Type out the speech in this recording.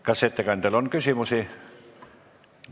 Kas ettekandjale on küsimusi?